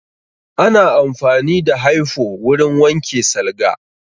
Ana amfani da hyfo wurin wanke salga